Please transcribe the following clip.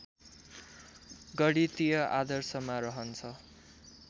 गणितीय आदर्शमा रहन्छ